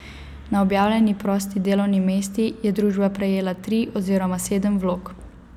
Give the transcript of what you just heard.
Na objavljeni prosti delovni mesti je družba prejela tri oziroma sedem vlog.